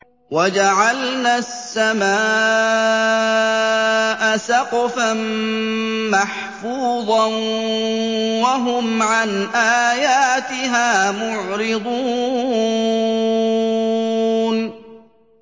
وَجَعَلْنَا السَّمَاءَ سَقْفًا مَّحْفُوظًا ۖ وَهُمْ عَنْ آيَاتِهَا مُعْرِضُونَ